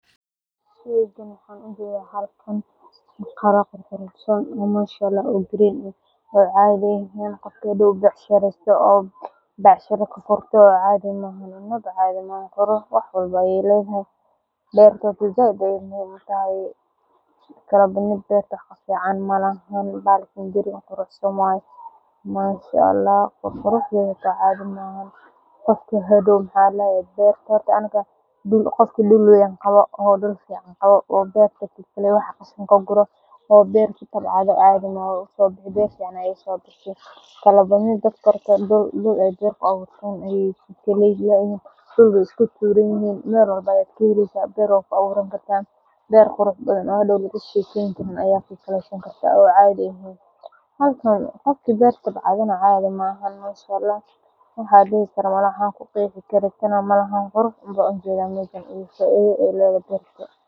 Halkan waxan ujeeda qiro oo green ah, aad ayu uficantahay, qofka helo beertan qofki dul weyn qawo oo beer kutabcaado cadhi maha, beer waa ku aburan kartaa, halkan waxan ujeeda qurux iyo faidada ee ledhahay.